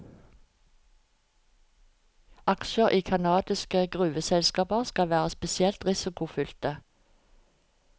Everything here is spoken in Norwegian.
Aksjer i canadiske gruveselskaper skal være spesielt risikofylte.